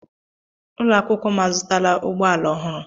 Ụlọ akwụkwọ m azụtala ụgbọ ala ọhụrụ.